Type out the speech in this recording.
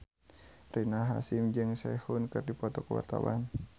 Rina Hasyim jeung Sehun keur dipoto ku wartawan